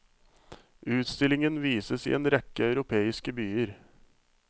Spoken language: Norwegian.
Utstillingen vises i en rekke europeiske byer.